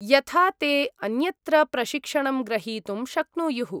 यथा ते अन्यत्र प्रशिक्षणं ग्रहीतुं शक्नुयुः।